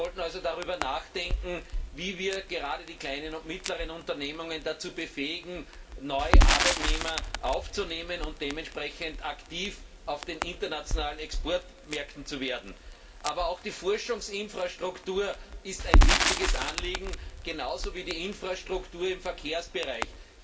Wir sollten also darüber nachdenken, wie wir gerade die kleinen und mittleren Unternehmen dazu befähigen, neue Arbeitnehmer einzustellen und dementsprechend aktiv auf den internationalen Exportmärkten zu werden. Aber auch die Forschungsinfrastruktur ist ein wichtiges Anliegen, genauso wie die Infrastruktur im Verkehrsbereich.